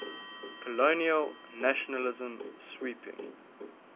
colonial nationalism sweeping